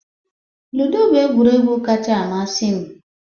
Ludo bụ egwuregwu kacha amasị m